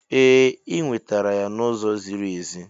Ee, ị nwetara ya n'ụzọ ziri ezi.